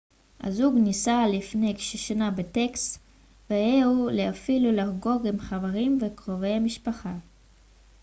הזוג נישא לפני כשנה בטקסס והגיע לבאפלו לחגוג עם חברים וקרובי משפחה